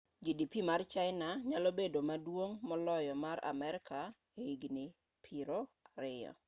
gdp mar china nyalo bedo maduong' moloyo mar amerka ei higni piero ariyo